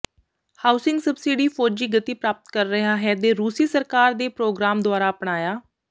housing subsidy ਫੌਜੀ ਗਤੀ ਪ੍ਰਾਪਤ ਕਰ ਰਿਹਾ ਹੈ ਦੇ ਰੂਸੀ ਸਰਕਾਰ ਦੇ ਪ੍ਰੋਗਰਾਮ ਦੁਆਰਾ ਅਪਣਾਇਆ